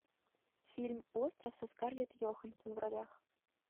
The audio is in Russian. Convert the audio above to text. фильм остров со скарлетт йоханссон в ролях